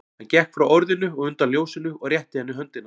Hann gekk frá orðinu og undan ljósinu og rétti henni höndina.